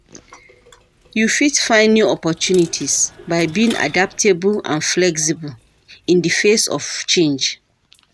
You fit find new opportunties by being adaptable and flexible in di face of change.